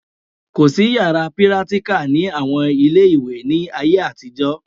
Kò sí yàrá pírátíkà ní àwọn ilé ìwé ní ayé àtijọ́